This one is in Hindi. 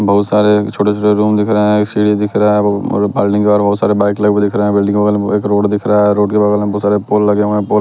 बहुत सारे छोटे-छोटे रूम दिख रहे हैं सीढ़ी दिख रहा है बल्डिंग के बाहर बहुत सारे बाइक लगे हुए दिख रहे हैं बिल्डिंग के बगल में एक रोड दिख रहा है रोड के बगल में बहुत सारे पोल लगे हुए हैं पोल --